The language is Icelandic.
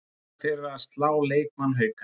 Líklega fyrir að slá leikmann Hauka